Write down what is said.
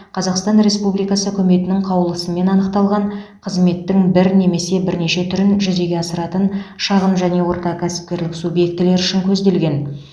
қазақстан республикасы үкіметінің қаулысымен анықталған қызметтің бір немесе бірнеше түрін жүзеге асыратын шағын және орта кәсіпкерлік субъектілері үшін көзделген